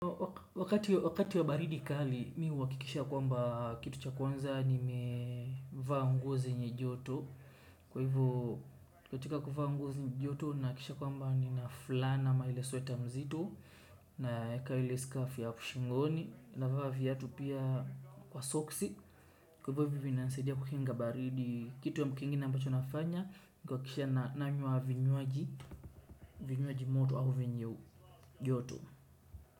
Wakati wa baridi kali mi uhakikisha kwamba kitu cha kwanza nime vaa nguo zenye joto. Kwa hivyo katika kuvaa nguo zenye joto nakisha kwamba ni na fulana ama ile sweta mzito naeka ile scarf ya shingoni navaa viatu pia kwa soksi kwa hivo vinanisaidia kukunga baridi kitu kitu kingine ambacho nafanya nikuhakikisha nanywa vinywaji moto ama vyenye joto.